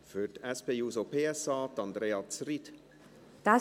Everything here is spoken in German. Für die SP-JUSO-PSA, Andrea Zryd.